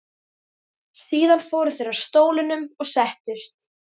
Síðan fóru þeir að stólunum og settust.